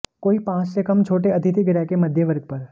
कोई पाँच से कम छोटे अतिथि गृह के मध्य वर्ग पर